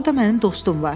Orda mənim dostum var.